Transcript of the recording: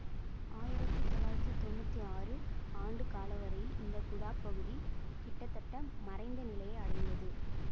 ஆயிரத்தி தொள்ளாயிரத்தி தொன்னூற்தி ஆறு ஆண்டு காலவரையில் இந்த குடாப் பகுதி கிட்டத்தட்ட மறைந்த நிலையை அடைந்தது